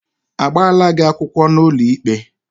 Agbala gị akwụkwọ n'ụlọikpe?